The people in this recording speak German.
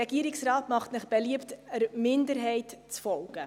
Der Regierungsrat macht Ihnen beliebt, der Minderheit zu folgen.